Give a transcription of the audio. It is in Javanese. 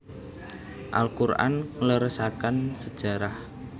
Al Qur an ngleresaken sejarah